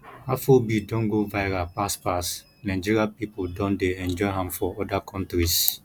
afrobeat don go viral pass pass nigeria pipo don dey enjoy am for oda countries